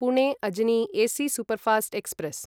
Pune Ajni AC superfast express